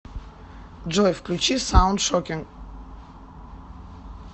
джой включи саунд шокинг